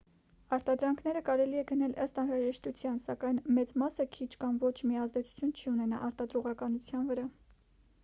արտադրանքները կարելի է գնել ըստ անհրաժեշտության սակայն մեծ մասը քիչ կամ ոչ մի ազդեցություն չի ունենա արտադրողականության վրա